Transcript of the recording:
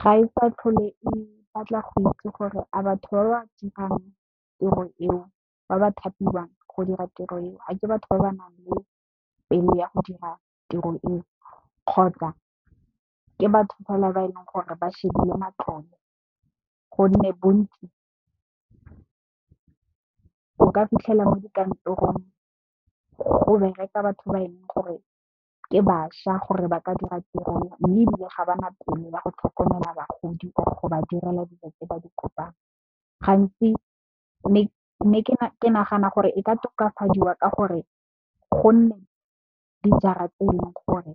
Ga e sa tlhole e batla go itse gore a batho ba ba dirang tiro eo, ba ba thapiwang go dira tiro eo, a ke batho ba ba nang le pelo ya go dira tiro eo, kgotsa ke batho fela ba e leng gore ba shebile matlole. Gonne, bontsi o ka fitlhela mo dikantorong go bereka batho ba e leng gore ke bašwa gore ba ka dira tiro e mme, ebile ga ba na pele ba go tlhokomela bagodi or go ba direla dilo tse ba di kopang gantsi mme ke nagana gore e ka tokafadiwa ka gore gonne dijara tse e leng gore